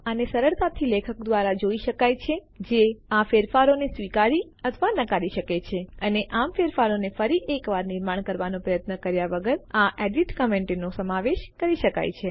આને સરળતાથી લેખક દ્વારા જોઈ શકાય છે જે આ ફેરફારોને સ્વીકારી અથવા નકારી શકે છે અને આમ ફેરફારોને ફરી એકવાર નિર્માણ કરવાનો પ્રયત્ન કર્યા વગર આ એડીટ કમેન્ટો ફેરફાર કરાવનાર ટિપ્પણીઓનો સમાવેશ કરી શકે છે